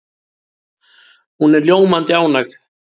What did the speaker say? Hún er ljómandi ánægð.